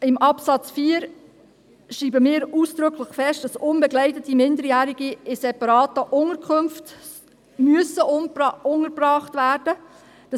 Im Absatz 4 schreiben wir ausdrücklich fest, dass unbegleitete Minderjährige in separaten Unterkünften untergebracht werden müssen.